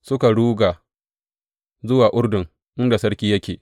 Suka ruga zuwa Urdun, inda sarki yake.